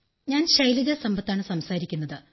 ഞാൻ ശൈലജ സമ്പത്താണ് സംസാരിക്കുന്നത്